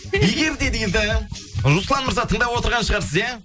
егер де дейді руслан мырза тыңдап отырған шығарсыз иә